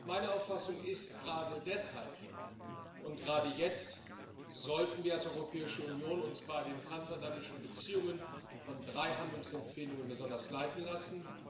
Meine Auffassung ist Gerade deshalb und gerade jetzt sollten wir uns als Europäische Union bei den transatlantischen Beziehungen von drei Handlungsempfehlungen besonders leiten lassen.